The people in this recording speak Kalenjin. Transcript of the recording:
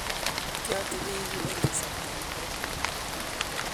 kiateben yu eng' kasarta negooi